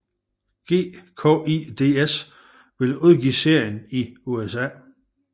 GKIDS vil udgive serien i USA